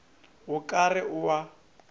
o ka re o a